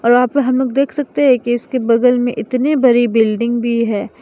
और वहां पर आप लोग देख सकते है इस के बगल में इतनी बड़ी बिल्डिंग भी है।